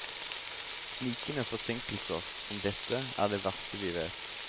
Snikende forsinkelser som dette er det verste vi vet.